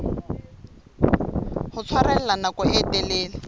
ho tshwarella nako e telele